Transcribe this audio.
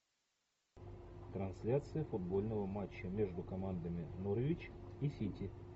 трансляция футбольного матча между командами норвич и сити